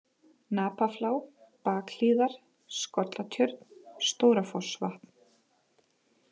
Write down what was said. Napaflá, Bakhlíðar, Skollatjörn, Stóra-Fossvatn